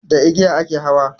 Da igiya a ke hawa